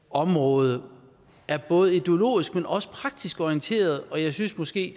område er både ideologisk men også praktisk orienteret og jeg synes måske